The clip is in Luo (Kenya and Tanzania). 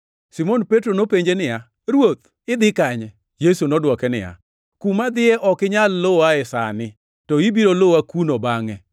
Simon Petro nopenje niya, “Ruoth, idhi kanye?” Yesu nodwoke niya, “Kuma adhiye ok inyal luwae sani, to ibiro luwa kuno bangʼe.”